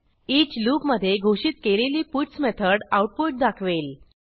each लूपमधे घोषित केलेली पट्स मेथड आऊटपुट दाखवेल